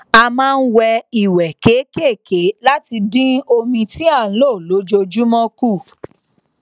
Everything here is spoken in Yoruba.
a máa n wẹ ìwẹ kékèké láti dín omi tí à n lò lójoojúmọ kù